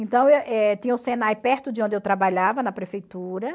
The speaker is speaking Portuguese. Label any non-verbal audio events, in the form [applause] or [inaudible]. Então, [unintelligible] eh tinha o Senai perto de onde eu trabalhava, na prefeitura.